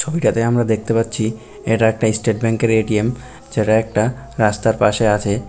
ছবিটাতে আমরা দেখতে পাচ্ছি এটা একটা স্টেট ব্যাংক এর এ.টি.এম. যেটা একটা রাস্তার পাশে আছে।